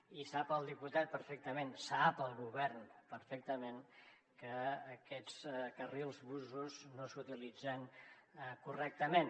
i sap el diputat perfectament sap el govern perfectament que aquests carrils busos no s’utilitzen correctament